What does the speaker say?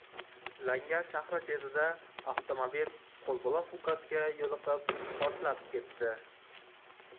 Langar shahri chetida avtomobil qo‘lbola fugasga yo‘liqib, portlab ketdi.